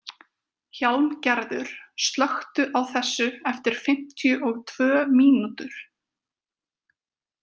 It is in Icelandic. Hjálmgerður, slökktu á þessu eftir fimmtíu og tvö mínútur.